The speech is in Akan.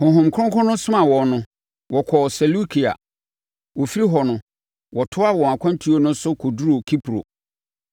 Honhom Kronkron somaa wɔn no, wɔkɔɔ Seleukia. Wɔfiri hɔ no, wɔtoaa wɔn akwantuo no so kɔduruu Kipro.